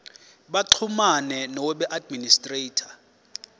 baxhumane noweb administrator